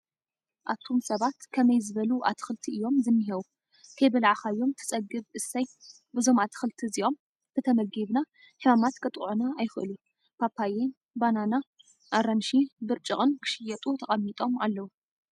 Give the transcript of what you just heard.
ኣቱሰባት ከመይ ዝበሉ ኣትኽልቲ እዮም ዝኒሀው ከይበላዕካዮም ትፀገብ እሰይ! እዞም ኣትኽልቲ እዞኦም እንተተመጊብና ሕማማት ከጥቅዑና ኣይክእሉን። ፓፓየ፣ በናና፣ ኣራንሺ፣ ብርጭቅን ክሽየጡ ተቀሚጦም ኣለው።